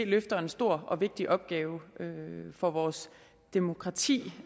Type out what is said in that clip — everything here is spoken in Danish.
løfter en stor og vigtig opgave for vores demokrati